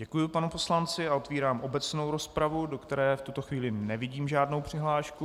Děkuju panu poslanci a otvírám obecnou rozpravu, do které v tuto chvíli nevidím žádnou přihlášku.